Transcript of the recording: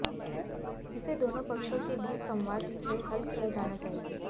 इसे दोनों पक्षों के बीच संवाद से हल किया जाना चाहिए